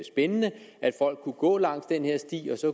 spændende at folk kunne gå ad den her sti